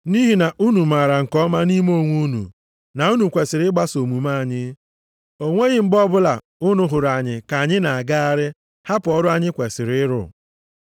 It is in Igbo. Nʼihi na unu maara nke ọma nʼime onwe unu na unu kwesiri ịgbaso omume anyị. O nweghị mgbe ọbụla unu hụrụ anyị ka anyị na-agagharị hapụ ọrụ anyị kwesiri ịrụ.